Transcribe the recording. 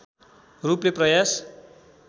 रूपले प्रयास